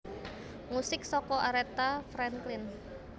Musik saka Aretha Franklin